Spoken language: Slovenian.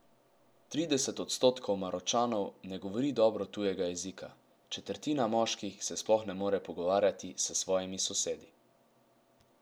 Trideset odstotkov Maročanov ne govori dobro tujega jezika, četrtina moških se sploh ne more pogovarjati s svojimi sosedi.